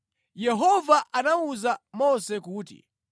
Yehova anawuza Mose kuti,